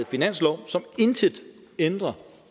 finanslov som intet ændrer